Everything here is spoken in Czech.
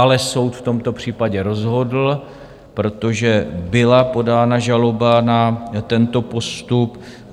Ale soud v tomto případě rozhodl, protože byla podána žaloba na tento postup.